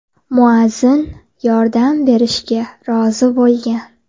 Muazzin yordam berishga rozi bo‘lgan.